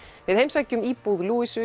við heimsækjum íbúð